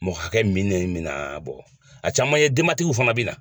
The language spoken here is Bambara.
Mɔgɔ hakɛ minɛn min na a caman ye denbatigiw fana be na.